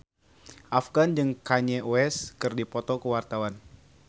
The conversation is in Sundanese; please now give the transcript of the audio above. Afgan jeung Kanye West keur dipoto ku wartawan